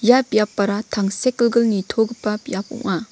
ia biapara tangsekgilgil nitogipa biap ong·a.